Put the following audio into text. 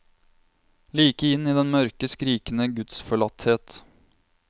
Like inn i den mørke, skrikende gudsforlatthet.